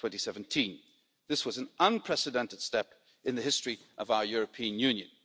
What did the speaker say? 2017. This was an unprecedented step in the history of our European Union.